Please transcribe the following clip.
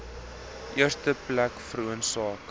eerste plek veroorsaak